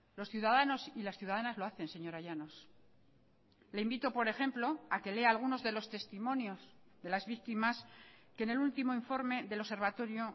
los ciudadanos y las ciudadanas lo hacen señora llanos le invito por ejemplo a que lea algunos de los testimonios de las víctimas que en el último informe del observatorio